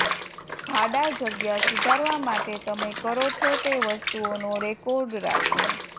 ભાડા જગ્યા સુધારવા માટે તમે કરો છો તે વસ્તુઓનો રેકોર્ડ રાખો